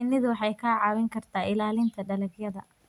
Shinnidu waxay kaa caawin kartaa ilaalinta dalagyada.